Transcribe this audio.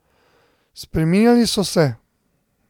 Spreminjali so se.